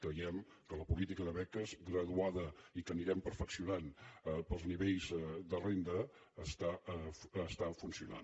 creiem que la política de beques graduada i que anirem perfeccionant pels nivells de renda està funcionant